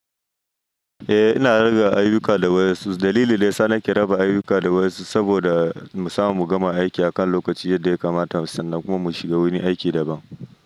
Eh, ina rige ayuka da wasu. Dalilin da saya nike raba ayuka da wasu saboda musamun mu gama aiki akan lokaci yadda ya kamata sannan kuma mu shiga wani aiki daban.